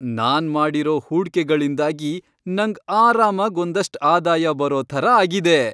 ನಾನ್ ಮಾಡಿರೋ ಹೂಡ್ಕೆಗಳಿಂದಾಗಿ ನಂಗ್ ಆರಾಮಾಗ್ ಒಂದಷ್ಟ್ ಆದಾಯ ಬರೋ ಥರ ಆಗಿದೆ.